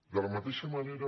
de la mateixa manera